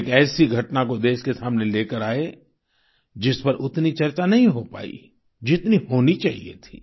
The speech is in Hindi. वे एक ऐसी घटना को देश के सामने लेकर आए जिस पर उतनी चर्चा नहीं हो पाई जितनी होनी चाहिए थी